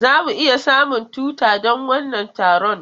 Za mu iya samun tuta don wannan taron?